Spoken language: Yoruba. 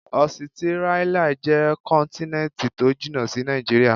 Ọsitírálíà jẹ́ kọ́ntínẹ́ntì tó jìnà sí Nàìjíríà.